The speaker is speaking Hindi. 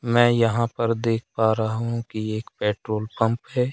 मैं यहां पर देख पा रहा हूं कि एक पेट्रोल पंप है।